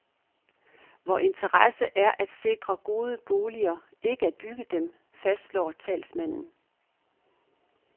Vor interesse er at sikre gode boliger, ikke at bygge dem, fastslår talsmanden.